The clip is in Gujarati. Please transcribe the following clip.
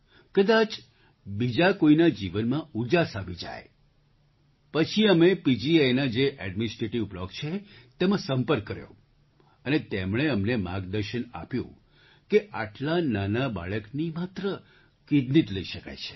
કદાચ બીજા કોઈના જીવનમાં ઉજાસ આવી જાય પછી અમે પીજીઆઈના જે ઍડ્મિનિસ્ટ્રેટિવ બ્લૉક છે તેમાં સંપર્ક કર્યો અને તેમણે અમને માર્ગદર્શન આપ્યું કે આટલા નાના બાળકની માત્ર કિડની જ લઈ શકાય છે